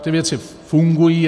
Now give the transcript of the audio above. Ty věci fungují.